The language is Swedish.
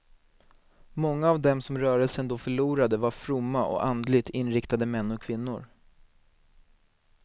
Många av dem som rörelsen då förlorade var fromma och andligt inriktade män och kvinnor.